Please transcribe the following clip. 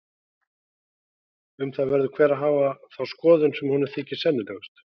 Um það verður hver að hafa þá skoðun sem honum þykir sennilegust.